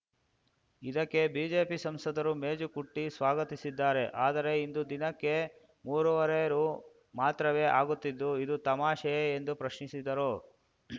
ಇದಕ್ಕೆ ಬಿಜೆಪಿ ಸಂಸದರು ಮೇಜು ಕುಟ್ಟಿಸ್ವಾಗತಿಸಿದ್ದಾರೆ ಆದರೆ ಇಂದು ದಿನಕ್ಕೆ ಮೂರು ವರೆ ರು ಮಾತ್ರವೇ ಆಗುತ್ತಿದ್ದು ಇದು ತಮಾಷೆಯೇ ಎಂದು ಪ್ರಶ್ನಿಸಿದರು